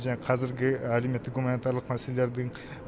және қазіргі әлеуметтік гуманитарлық мәселелердің